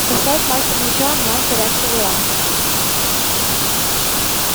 поставь мастер меча онлайн порядковый ранг